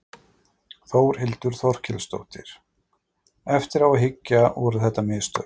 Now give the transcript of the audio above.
Þórhildur Þorkelsdóttir: Eftir á að hyggja, voru þetta mistök?